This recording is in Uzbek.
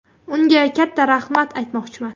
Unga katta rahmat aytmoqchiman.